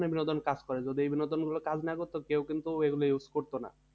বিনোদন কাজ করে যদি এই বিনোদনগুলো কাজ না করতো কেউ কিন্তু এগুলো use করতো না